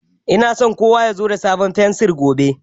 Ina so kowa ya zo da sabon fensir gobe.